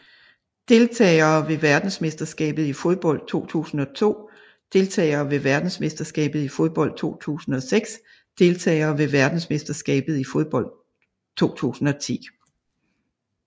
Deltagere ved verdensmesterskabet i fodbold 2002 Deltagere ved verdensmesterskabet i fodbold 2006 Deltagere ved verdensmesterskabet i fodbold 2010